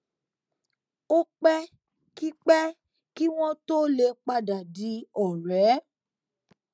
ó pé kí pé kí wón tó lè padà di òré